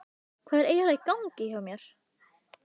Hvað er eiginlega í gangi hjá mér?